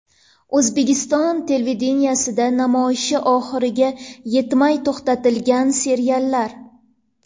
O‘zbekiston televideniyesida namoyishi oxiriga yetmay to‘xtatilgan seriallar.